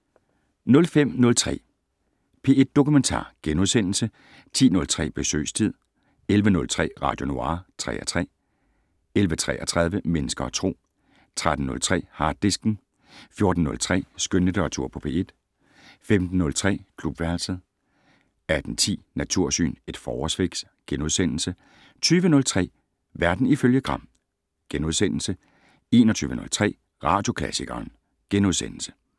05:03: P1 Dokumentar * 10:03: Besøgstid 11:03: Radio Noir (3:3) 11:33: Mennesker og Tro 13:03: Harddisken 14:03: Skønlitteratur på P1 15:03: Klubværelset 18:10: Natursyn: Et forårsfix * 20:03: Verden ifølge Gram * 21:03: Radioklassikeren *